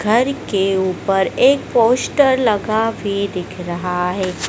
घर के ऊपर एक पोस्टर लगा भी दिख रहा है।